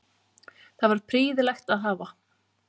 Það var prýðilegt að hafa